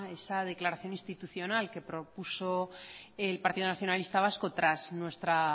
esa declaración institucional que propuso el partido nacionalista vasco tras nuestra